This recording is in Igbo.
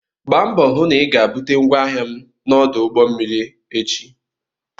Gba mbọ hụ na ị ga-bute ngwaahịa m na ọdụ ụgbọ mmiri echi!